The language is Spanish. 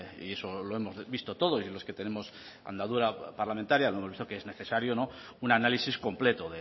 y eso lo hemos visto todos y los que tenemos andadura parlamentaria hemos visto que es necesario un análisis completo